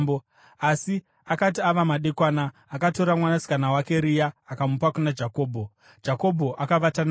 Asi akati ava madekwana, akatora mwanasikana wake Rea akamupa kuna Jakobho, Jakobho akavata naye.